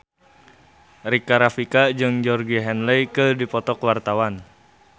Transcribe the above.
Rika Rafika jeung Georgie Henley keur dipoto ku wartawan